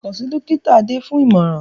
Kàn sí Dọ́kítà Adé fún ìmọ̀ràn